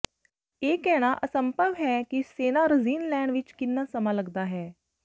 ਇਹ ਕਹਿਣਾ ਅਸੰਭਵ ਹੈ ਕਿ ਸੇਨਾਰਜ਼ੀਨ ਲੈਣ ਵਿੱਚ ਕਿੰਨਾ ਸਮਾਂ ਲਗਦਾ ਹੈ